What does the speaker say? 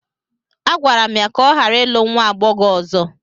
A gwara m ya ka ọ ghara ịlụ nwa agbọghọ ọzọ!